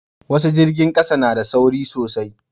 wasu jirgin ƙasa na da sauri sosai